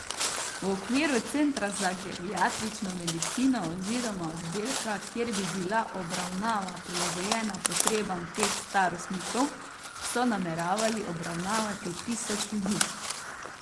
V okviru centra za geriatrično medicino oziroma oddelka, kjer bi bila obravnava prilagojena potrebam teh starostnikov, so nameravali obravnavati tisoč ljudi.